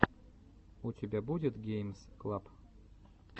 у тебя будет геймс клаб